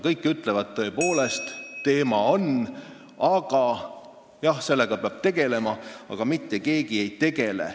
Kõik ütlevad, et teema on tõepoolest üleval, sellega peab tegelema, aga mitte keegi ei tegele.